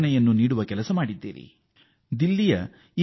ನೀವು ಮಾಡಿರುವ ಕಾರ್ಯ ಪ್ರೇರಣಾತ್ಮಕವಾಗಿದೆ